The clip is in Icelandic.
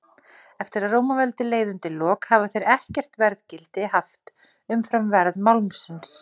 Eftir að Rómaveldi leið undir lok hafa þeir ekkert verðgildi haft umfram verð málmsins.